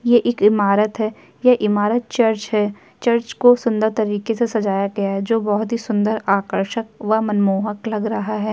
ये इक ईमारत है। ये ईमारत चर्च है। चर्च को सुंदर तरीके से सजाय गया है जो बहुत ही सुंदर आकर्षक व मनमोहक लग रहा है।